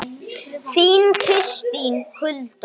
Þín Kristín Hulda.